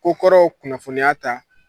Kokɔrɔw kunnafoniya ta